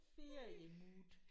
Ferie mood